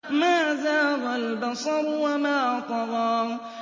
مَا زَاغَ الْبَصَرُ وَمَا طَغَىٰ